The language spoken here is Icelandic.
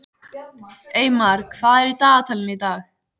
Eymar, hvað er í dagatalinu í dag?